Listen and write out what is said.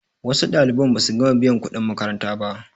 wasu ɗaliban ba su gama biyan kuɗin makaranta ba